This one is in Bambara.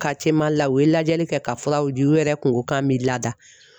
Mali la , u ye lajɛli kɛ ka furaw ji , u yɛrɛ kun ko k'an m'i lada.